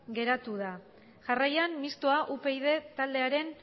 geratu da jarraian mistoa upyd taldearen